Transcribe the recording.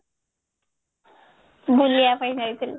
ବୁଲିବା ପାଇଁ ଯାଇଥିଲି